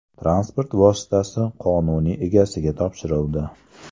Transport vositasi qonuniy egasiga topshirildi.